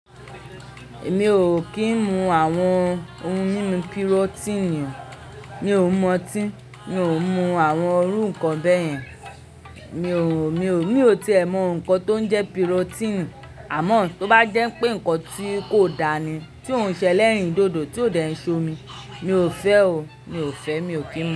Mi ò kì ń mu àwọn ohun mímu pirotini. Mi ò mu ọ́tí, mi ò mu àwọn irú nǹkan bẹ́ẹ̀ yẹn. Mi ò, mi ò, mi ò tíì ẹ mọ nǹkan tó ń jẹ́ pirotini àmọ́ tó bá jẹ́ pé nǹkan tí kò dáa ni, tí ò ń ṣẹlẹ̀rìn dodo, tí ó dẹ̀ ń ṣomi, mi ò fẹ́ o, mi ò fẹ́, mi ò kí ń mu.